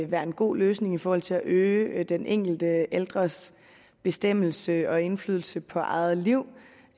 være en god løsning i forhold til at øge den enkelte ældres bestemmelse og indflydelse på eget liv